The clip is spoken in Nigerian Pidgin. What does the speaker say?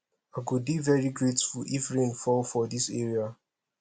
i go dey very grateful if rain fall for dis area